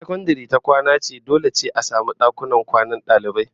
Idan sakandare ta kwana ce to dole a samu dakunan kwanan dalibai